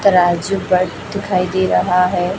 तराजू बट दिखाई दे रहा है।